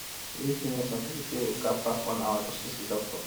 to reach clinic some people fit waka pass one hour um just to see doctor